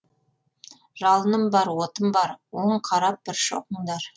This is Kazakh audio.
жалыным бар отым бар он қарап бір шоқыңдар